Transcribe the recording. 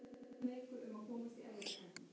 Steinrós, hvenær kemur sjöan?